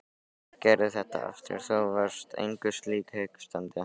Gerðu þetta aftur, þú varst engu lík hikstaði hann.